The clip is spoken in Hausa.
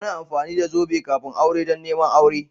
Ana amfani da zobe kafin aure don neman auren.